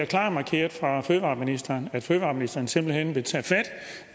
klart markeret fra fødevareministerens side at fødevareministeren simpelt hen vil tage fat